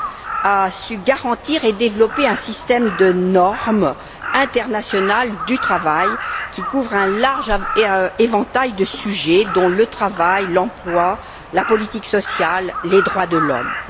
a su garantir et développer un système de normes internationales du travail qui couvre un large éventail de sujets, dont le travail, l'emploi, la politique sociale et les droits de l'homme.